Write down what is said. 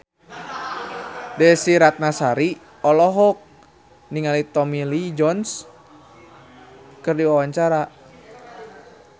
Desy Ratnasari olohok ningali Tommy Lee Jones keur diwawancara